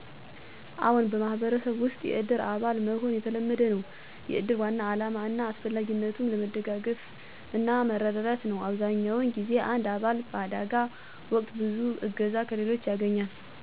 አዎን፣ በማህበረሰብ ውስጥ የእድር አባል መሆን የተለመደ ነው። የእድር ዋና ዓላማ እና አስፈላጊነትም ለመደጋገፍና መረዳዳት ነው። አብዛኛውን ጊዜ አንድ አባል በአደጋ ወቅት ብዙ እገዛ ከሌሎች ያገኛል። እንዲሁም፣ በተለያዩ ቦታዎች እድሮች እንደ ቤተሰብ የሚሰሩ ስለሆነ፣ አባላቱ የመረዳትና የመተዳደር እሴት ያተርፋሉ።